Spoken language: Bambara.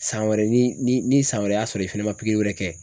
San wɛrɛ ni ni ni san wɛrɛ y'a sɔrɔ i fɛnɛ ma wɛrɛ kɛ